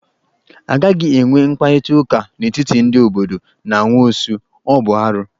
A gaghị enwe mkparịta ụka n'etiti ndị obodo na nwaosu, ọ bụ arụ.